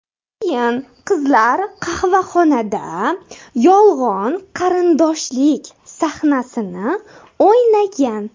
Keyin qizlar qahvaxonada yolg‘on qarindoshlik sahnasini o‘ynagan.